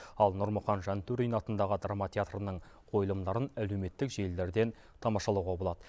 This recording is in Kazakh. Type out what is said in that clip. ал нұрмұхан жантөрин атындағы драма театрының қойылымдарын әлеуметтік желілерден тамашалауға болады